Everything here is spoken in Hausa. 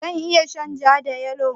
Zan iya shan ja da yalo?